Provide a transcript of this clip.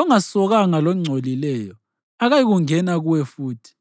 Ongasokanga longcolileyo akayikungena kuwe futhi.